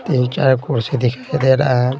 तीन चार कुर्सी दिखाई दे रहा है।